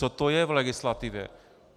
Co to je v legislativě?